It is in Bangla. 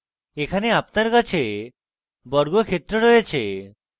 এখানে আপনার কাছে বর্গক্ষেত্র রয়েছে